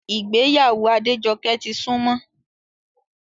Ìgbéyàwó Adéjọkẹ́ ti súnmọ́